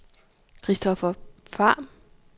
Christoffer Pham